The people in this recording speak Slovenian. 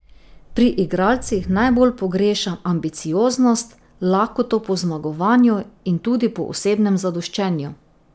Pri igralcih najbolj pogrešam ambicioznost, lakoto po zmagovanju in tudi po osebnem zadoščenju.